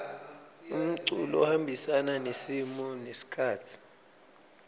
umculo uhambisana nesimo nesikhatsi